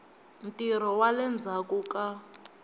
ntirho wa le ndzhaku ka